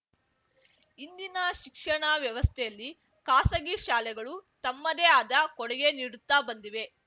ಇಂದಿನ ಶಿಕ್ಷಣ ವ್ಯವಸ್ಥೆಯಲ್ಲಿ ಖಾಸಗಿ ಶಾಲೆಗಳು ತಮ್ಮದೆ ಆದ ಕೊಡುಗೆ ನೀಡುತ್ತಾ ಬಂದಿವೆ